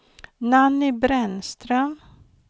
Nanny Brännström